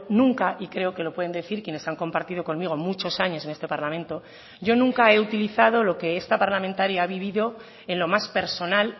nunca y creo que lo pueden decir quienes han compartido conmigo muchos años en este parlamento yo nunca he utilizado lo que esta parlamentaria ha vivido en lo más personal